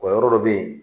O yɔrɔ dɔ bɛ yen